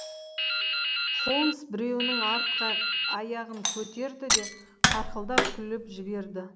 холмс біреуінің артқы аяғын көтерді де қарқылдап күліп жіберді